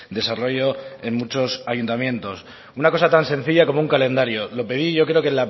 desarrollo en muchos ayuntamientos una cosa tan sencilla como un calendario lo pedí yo creo que